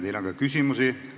Teile on ka küsimusi.